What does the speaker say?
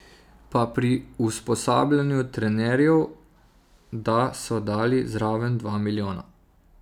Pa pri usposabljanju trenerjev da so dali zraven dva milijona.